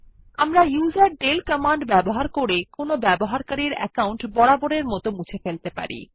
আমরা userdel command ব্যবহার করে কোনো ব্যবহারকারীর অ্যাকাউন্ট বরাবরের মত মুছে ফেলতে পারি